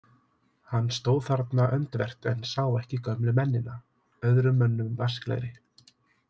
Hann stóð þarna öndvert en sá ekki gömlu mennina, öðrum mönnum vasklegri.